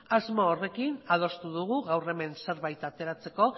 asmo horrekin adostu dugu gaur hemen zerbait ateratzeko